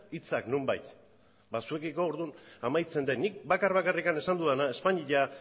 hitzak nonbait ba zuekiko orduan amaitzen dut nik bakar bakarrik esan dudana espainia